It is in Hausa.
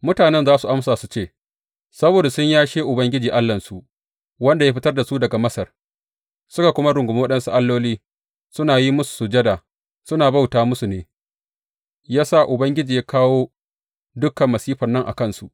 Mutane za su amsa su ce, Saboda sun yashe Ubangiji Allahnsu, wanda ya fitar da su daga Masar, suka rungumi waɗansu alloli, suna yin musu sujada, suna bauta musu ne, ya sa Ubangiji ya kawo dukan masifan nan a kansu.’